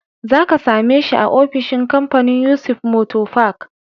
Za ka same shi a ofishin kamfanin Yusuf motor park.